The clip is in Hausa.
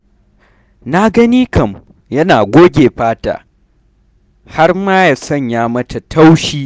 Na gani kam yana goge fata har ma da sanya mata taushi.